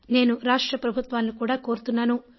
నేను రాష్ట్ర ప్రభుత్వాలను కూడా కోరుతున్నాను